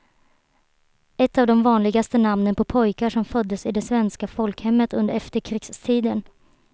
Ett av de vanligaste namnen på pojkar som föddes i det svenska folkhemmet under efterkrigstiden.